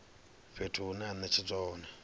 fhethu hune ha netshedzwa hone